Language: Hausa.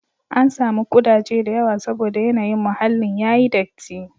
An samu ƙudaje da yawa saboda yanayin muhallin ya yi datti.